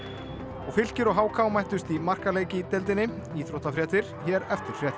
og Fylkir og h k mættust í markaleik í deildinni íþróttafréttir hér eftir fréttir